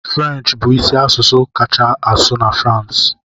French bụ isi asụsụ a kacha asụ na France